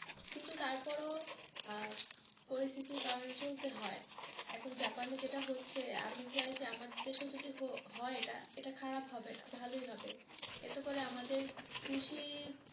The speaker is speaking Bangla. কিন্তু তারপরও আহ পরিস্থিতির কারনে চলতে হয় এখন জাপানে যেটা হচ্ছে আপনি চাই যে আমাদের দেশেও যদি হয় এটা, এটা খারাপ হবে না এটা ভালোই হবে এতে করে আমাদের কৃষি,